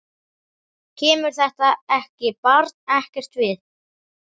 Kemur þetta barn ekkert við.